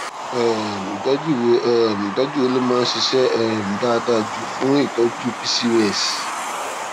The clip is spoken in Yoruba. um ìtójú wo um ìtójú wo ló máa ń ṣiṣé um dáadáa jù fún ìtọjú pcos